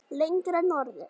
Lengra norður.